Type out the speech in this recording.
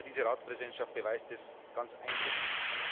Aber diese Ratspräsidentschaft beweist es ganz eindrücklich.